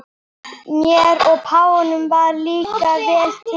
Mér og páfanum varð líka vel til vina.